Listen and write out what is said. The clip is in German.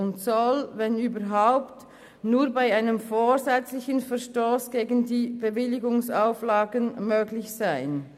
Sie soll, wenn überhaupt, nur bei einem vorsätzlichen Verstoss gegen die Bewilligungsauflagen möglich sein.